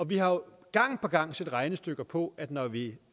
vi har jo gang på gang set regnestykker på at når vi